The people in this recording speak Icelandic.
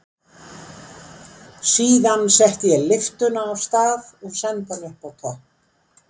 Síðan setti ég lyftuna af stað og sendi hana upp á topp.